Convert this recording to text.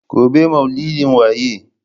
Gobe ​​maulidin waye?